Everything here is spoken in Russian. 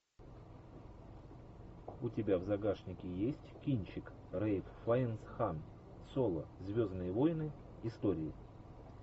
у тебя в загашнике есть кинчик рэйф файнс хан соло звездные войны истории